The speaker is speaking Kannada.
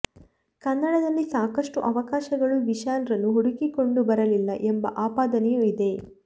ಕನ್ನಡದಲ್ಲಿ ಸಾಕಷ್ಟು ಅವಕಾಶಗಳು ವಿಶಾಲ್ ರನ್ನು ಹುಡುಕಿಕೊಂಡು ಬರಲಿಲ್ಲ ಎಂಬ ಆಪಾದನೆಯೂ ಇದೆ